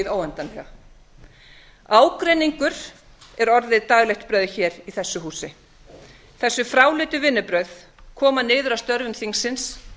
í hið óendanlega ágreiningur er orðið daglegt brauð hér í þessu húsi þessi fráleitu vinnubrögð koma niður á störfum þingsins